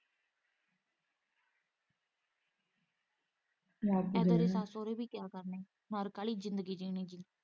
ਨਰਕ ਵਾਲ਼ੀ ਜ਼ਿੰਦਗੀ ਜਿਉਣੀ ਏਦਾ ਦੇ ਸੱਸ ਸਹੁਰੇ ਵੀ ਕਿਆ ਕਰਨੇ।